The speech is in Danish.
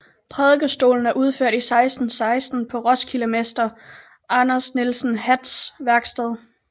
Prædikestolen er udført i 1616 på roskildemesteren Anders Nielsen Hatts værksted